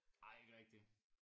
Ej ikke rigtig